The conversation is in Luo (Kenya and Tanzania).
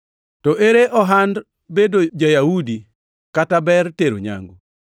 To ere ohand bedo ja-Yahudi kata ber tero nyangu?